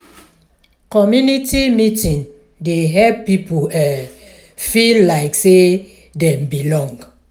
community meeting dey help people feel like sey dem belong.